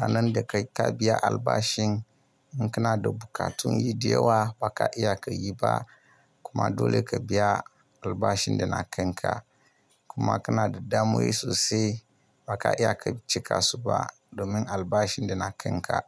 ranan da kai ka biya albashin, in kana da bukatun yi diyawa ba ka iya ka yi ba. Kuma dole ka biya albashin da na kan ka. Kuma kana da damuwoyi sosai ba ka iya ka cika su ba domin albashin da na kan ka.